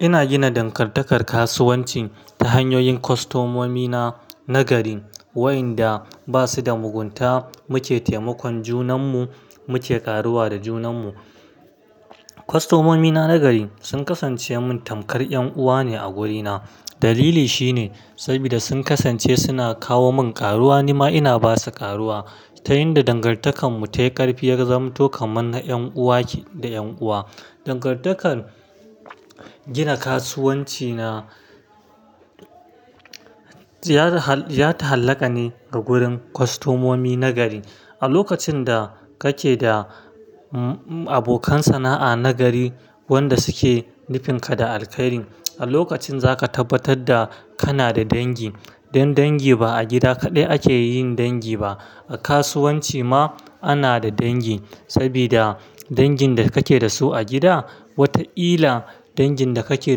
Ina gina dangantakar kasuwanci ta hanyoyin kwastomomi na nagari, waɗanda ba su da mugunta. Mu ke taimakon junanmu, muke ƙaruwa da junanmu. Kwastomomi na nagari sun kasance min tamkar ƴan uwa ne a wurina. Dalili shine sabida sun kasance suna kawo min ƙaruwa, nima ina ba su ƙaruwa. Ta yinda dangantakar mu ta yi ƙarfi, ya zama to kamar na ƴan uwa da ƴan uwa. Dangantakar gina kasuwanci na ya ta hallaka ne ga gurin kwastomomi na gari. A lokacin da kake da abokan sana'a nagari, wanda suke nufinka da alkhairi, a lokacin zaka tabbatar da kana da dangi. Dan dangi ba a gida kaɗai ake yin dangi ba, a kasuwanci ma ana da dangi. Sabida dangin da kake da su a gida, wataƙila dangin da kake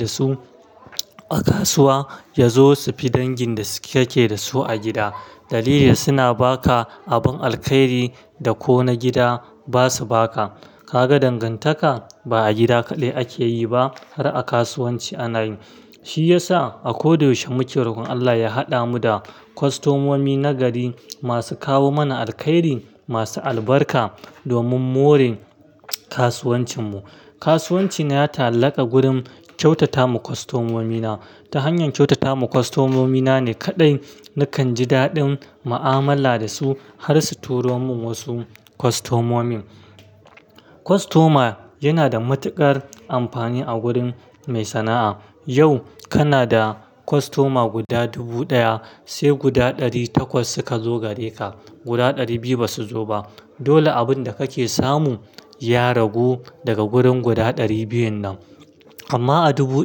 da su a kasuwa ya zo su fi dangin da kake da su a gida. Dalili suna ba ka abin alkhairi da ko na gida ba su ba ka. Kaga dangantaka ba a gida kaɗai ake yi ba har a kasuwanci ana yi. Shi ya sa a ko da yaushe muke rokon Allah ya haɗa mu da kwastomomi nagari masu kawo mana alkhairi, masu albarka domin morin kasuwancinmu. Kasuwanci na ya ta hallaka gurin kyautata ma kwastomomi na. Ta hanyar kyautata ma kwastomomi na ne kaɗai nakan ji daɗin mu'amala da su har su turo min wasu kwastomomi. Kwastoma yana da matuƙar amfani a gurin mai sana'a. Yau kana da kwastoma guda dubu ɗaya, sai guda ɗari takwas suka zo gare ka, guda ɗari biyu ba su zo ba. Dole abun da kake samu ya ragu daga gurin guda ɗari biyun nan. Amma a dubu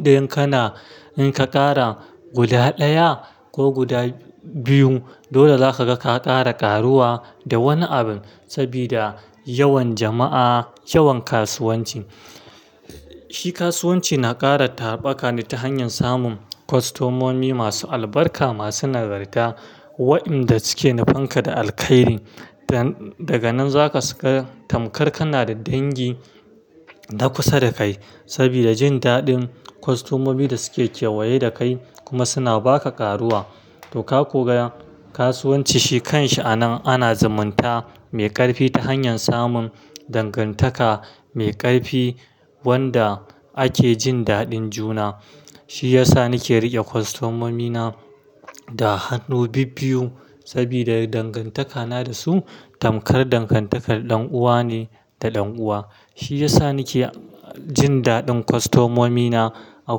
ɗayan kana in ka ƙara guda ɗaya ko guda biyu, dole za ka ga ka ƙara ƙaruwa da wani abin. Sabida yawan jama'a, yawan kasuwanci. Shi kasuwanci na ƙara tarbaƙa ne ta hanyar samun kwastomomi masu albarka, masu nagarta waɗanda suke nufanka da alkhairi. Daga nan za su tamkar kana da dangi na kusa da kai. Sabida jin daɗin kwastomomin da suke kewaye da kai kuma suna ba ka ƙaruwa. To, ka koga kasuwanci shi kan shi anan ana zumunta mai ƙarfi ta hanyar samun dangantaka mai ƙarfi wanda ake jin daɗin juna. Shi ya sa nake riƙe kwastomomi na da hannu bibbiyu sabida dangantaka na da su tamkar dangantakar ɗan'uwa ne da ɗan'uwa. Shi ya sa nake jin daɗin kwastomomi na a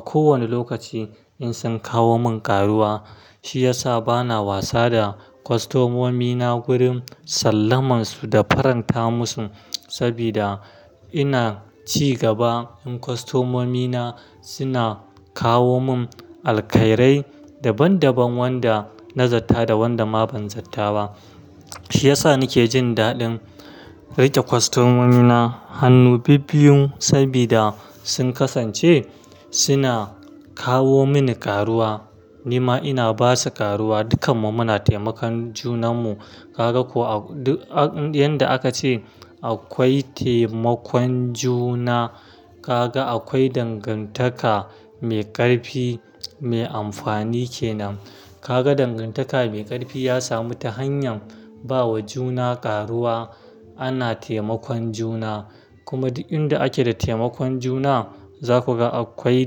kowane lokaci in sun kawo mun ƙaruwa. Shi ya sa bana wasa da kwastomomi na gurin sallaman su da faranta musu sabida ina ci gaba. ƴIn kwastomomi na suna kawo mun alkhirai daban daban wanda na zatta da wanda ma ban zatta ba. Shi ya sa nake jin daɗin riƙe kwastomomi na hannu bibbiyu sabida sun kasance suna kawo mini ƙaruwa, nima ina ba su ƙaruwa. Dukanmu muna taimakon junanmu. Kaga ko yanda aka ce akwai taimakon juna, kaga akwai dangantaka mai ƙarfi mai amfani kenan. Kaga dangantaka mai ƙarfi ya samu ta hanyar ba wa juna ƙaruwa. Ana taimakon juna, kuma duk inda ake da taimakon juna za ku ga akwai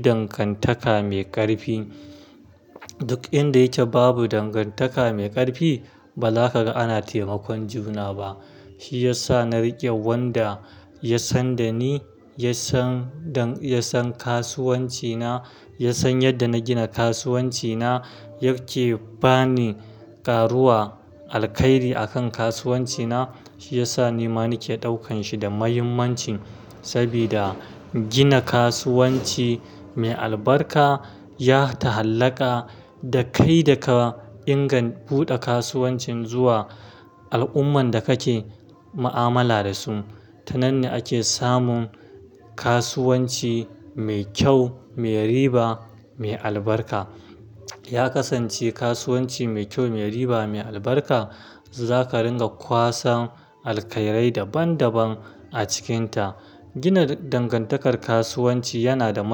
dangantaka mai ƙarfi. Duk inda yake babu dangantaka mai ƙarfi, ba za ka ga ana taimakon juna ba. Shi ya sa na riƙe wanda ya san da ni, ya san dan-- ya san kasuwanci na, ya san yadda na gina kasuwanci na yake ba ni ƙaruwa, alkhairi a kan kasuwanci na. Shi ya sa nima nake ɗaukan shi da muhimmancin sabida gina kasuwanci mai albarka ya ta hallaka da kai da ka inga buɗe kasuwancin zuwa al'ummar da kake mu'amala da su. Tananne ake samun kasuwanci mai kyau, mai riba, mai albarka. Ya kasance kasuwanci mai kyau, mai riba, mai albarka za ka dinga kwasan alkhirai daban daban a cikinta. Gina dangantakar kasuwanci yana da ma.